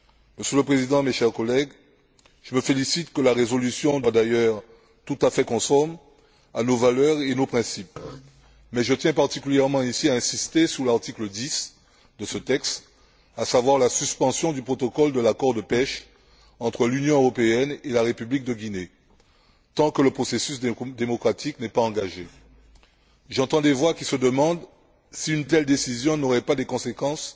Monsieur le Président, mes chers collègues, je me félicite que la résolution de compromis soit d'ailleurs tout à fait conforme à nos valeurs et à nos principes, mais je tiens particulièrement ici à insister sur l'article 10 de ce texte, à savoir la suspension du protocole de l'accord de pêche entre l'Union européenne et la République de Guinée tant que le processus démocratique n'est pas engagé. J'entends des voix qui se demandent si une telle décision n'aurait pas des conséquences